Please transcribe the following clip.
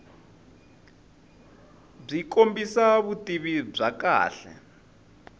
byi kombisa vutivi bya kahle